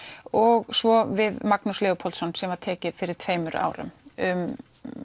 og svo við Magnús Leópoldsson sem var tekið fyrir tveimur árum um